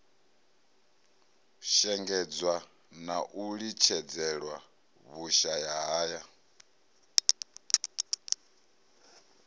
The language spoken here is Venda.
shengedzwa na u litshedzelwa vhushayahaya